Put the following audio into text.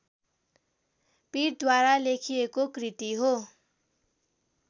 पीठद्वारा लेखिएको कृति हो